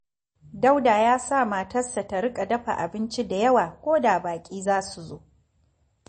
Dauda ya sa matarsa ta riƙa dafa abinci da yawa ko da baƙi za su zo